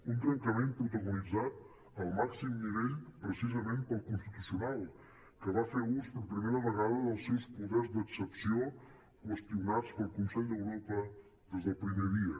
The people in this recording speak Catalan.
un trencament protagonitzat al màxim nivell precisament pel constitucional que va fer ús per primera vegada dels seus poders d’excepció qüestionats pel consell d’europa des del primer dia